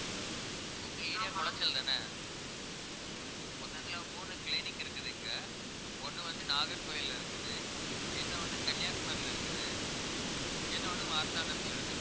உங்க area குளச்சல்தானே மொத்தத்துல மூணு clinic இருக்குது இங்க ஒண்ணு வந்து நாகர்கோவில்ல இருக்குது இன்னொன்னு கன்னியாகுமரியில இருக்குது இன்னொன்னு மார்த்தாண்டத்துல இருக்குது